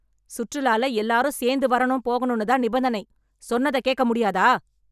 சுற்றுலால எல்லாரும் சேந்து வரணும் போகணும்னு தான நிபந்தனை. சொன்னத கேக்க முடியாதா?